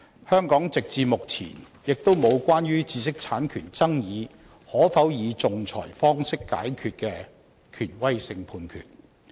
香港直至目前也沒有關於知識產權爭議可否以仲裁方法解決的權威性判決。